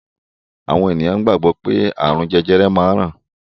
Àwọn ènìyàn gbàgbọ́ pé ààrùn jẹjẹrẹ máa ń ràn